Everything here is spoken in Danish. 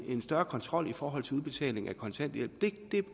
en større kontrol i forhold til udbetaling af kontanthjælp